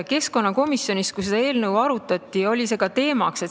Keskkonnakomisjonis, kui seda eelnõu arutati, oli see ka teemaks.